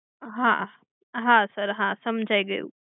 હા હા sir હા સમજાઈ ગયું.